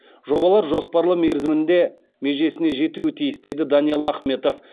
жобалар жоспарлы мерзімінде межесіне жетуі тиіс деді даниал ахметов